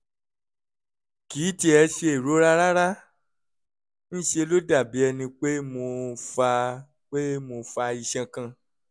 kì í tiẹ̀ ṣe ìrora rárá; ń ṣe ló dàbí ẹni pé mo fa pé mo fa iṣan kan